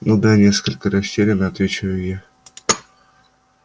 ну да несколько растеряно отвечаю я